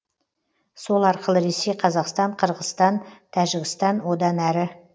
сол арқылы ресей қазақстан қырғызстан тәжікстан одан әрі